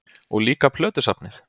Og líka plötusafnið?